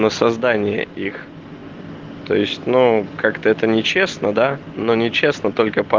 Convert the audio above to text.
на создание их то есть но как-то это нечестно да но нечестно только по